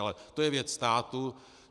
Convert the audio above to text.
Ale to je věc státu.